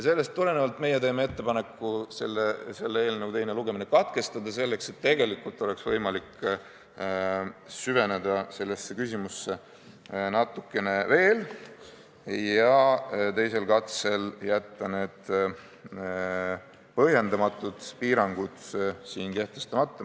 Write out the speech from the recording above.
Sellest tulenevalt teeme meie ettepaneku selle eelnõu teine lugemine katkestada, selleks et tegelikult oleks võimalik süveneda sellesse küsimusse natuke veel ja teisel katsel jätta need põhjendamatud piirangud kehtestamata ...